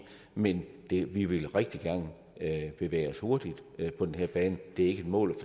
men vi vi vil rigtig gerne bevæge os hurtigt på den her bane det er ikke et mål